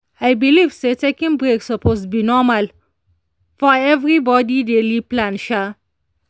i believe say taking break suppose be normal for everybody daily plan. um